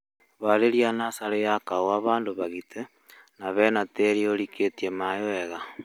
Harĩrĩa natharĩ ya kahũa handũ hagite na hena tĩri ũrikĩtie maĩĩ wega